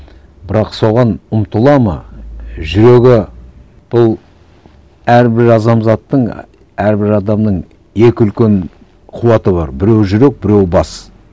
бірақ соған ұмтылады ма жүрегі бұл әрбір і әрбір адамның екі үлкен қуаты бар біреуі жүрек біреуі бас